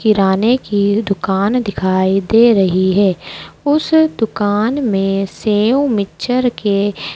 किराने की दुकान दिखाई दे रही है उस दुकान में सेव मिक्सचर के--